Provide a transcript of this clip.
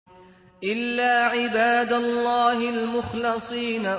إِلَّا عِبَادَ اللَّهِ الْمُخْلَصِينَ